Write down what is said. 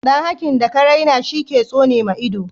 dan hakin daka raina shi ke tsonema ido